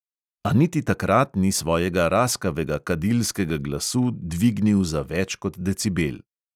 A niti takrat ni svojega raskavega kadilskega glasu dvignil za več kot decibel.